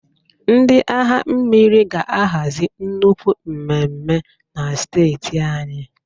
Ndị agha mmiri ga ahazi nnukwu mmemme na steeti anyị